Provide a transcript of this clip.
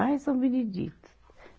Ai, São Benedito.